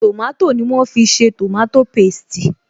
Tòmátò ni wọ́n fi ṣe tòmátò pésti